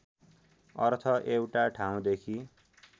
अर्थ एउटा ठाउँदेखि